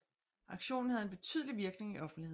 Aktionen havde en betydelig virkning i offentligheden